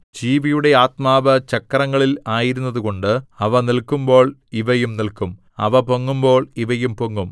ജീവിയുടെ ആത്മാവ് ചക്രങ്ങളിൽ ആയിരുന്നതുകൊണ്ട് അവ നില്ക്കുമ്പോൾ ഇവയും നില്ക്കും അവ പൊങ്ങുമ്പോൾ ഇവയും പൊങ്ങും